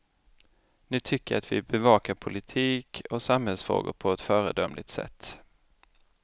Ni tycker att vi bevakar politik och samhällsfrågor på ett föredömligt sätt.